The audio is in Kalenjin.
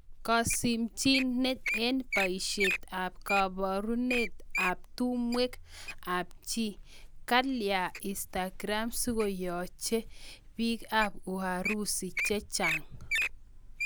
Kasimchineet eng paisiet ap kaparunet ap tumwek ap chii...kalya Instagram sikoyachee piik ap uharusi chechang